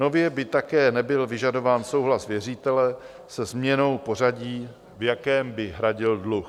Nově by také nebyl vyžadován souhlas věřitele se změnou pořadí, v jakém by hradil dluh.